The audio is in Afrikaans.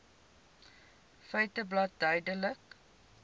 feiteblad verduidelik